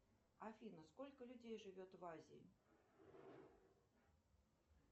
афина сколько людей живет в азии